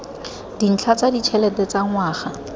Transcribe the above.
dintlha tsa ditšhelete tsa ngwaga